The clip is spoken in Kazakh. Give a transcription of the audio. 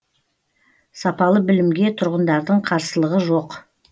сапалы білімге тұрғындардың қарсылығы жоқ